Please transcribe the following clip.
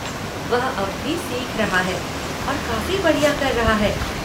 वह अब भी सीख रहा है और काफ़ी बढ़िया कर रहा है।